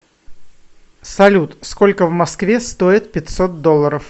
салют сколько в москве стоит пятьсот долларов